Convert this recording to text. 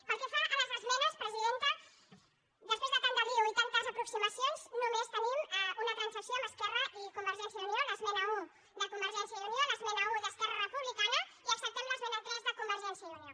pel que fa a les esmenes presidenta després de tant embolic i tantes aproximacions només tenim una transacció amb esquerra i convergència i unió l’es·mena un de convergència i unió l’esmena un d’esquer·ra republicana i acceptem l’esmena tres de conver·gència i unió